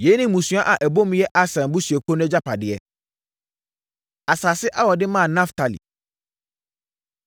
Yei ne mmusua a ɛbɔ mu yɛ Aser abusuakuo no agyapadeɛ. Asase A Wɔde Maa Naftali